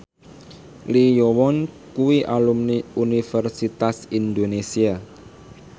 Lee Yo Won kuwi alumni Universitas Indonesia